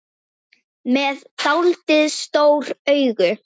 Með dáldið stór augu.